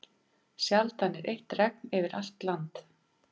Sjaldan er eitt regn yfir allt land.